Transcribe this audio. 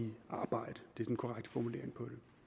arbejde det er den korrekte formulering